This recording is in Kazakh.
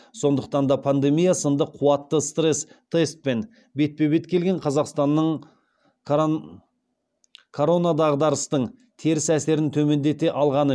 сондықтан да пандемия сынды қуатты стресс тестпен бетпе бет келген қазақстанның коронадағдарыстың теріс әсерін төмендете алғаны